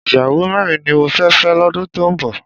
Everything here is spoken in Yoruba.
Ìyàwó mẹ́rin ni mo fẹ́ fẹ́ lọ́dún tó ń bọ̀